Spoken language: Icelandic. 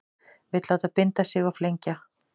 Vill láta binda sig og flengja